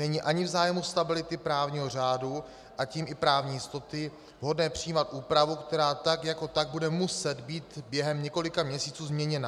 Není ani v zájmu stability právního řádu, a tím i právní jistoty vhodné přijímat úpravu, která tak jako tak bude muset být během několika měsíců změněna.